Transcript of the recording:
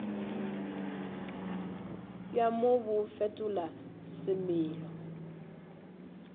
bja mo bo fetola semelo